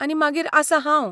आनी मागीर आसां हांव!